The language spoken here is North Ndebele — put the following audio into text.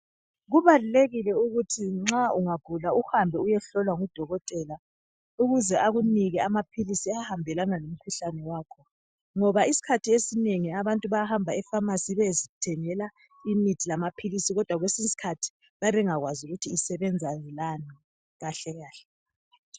Kubalulekile ukuthi nxa ungagula uhambe uyehlolwa ngudokotela ukuze akunike amaphilisi ahambelana lomkhuhlane wakho, ngoba isikhathi esinengi abantu bayahamba epharmacy beyezithengela imithi lamaphilisi, kodwa kwesiye isikhathi bayabe bengakwazi ukuthi isebenza lani kahle kahle.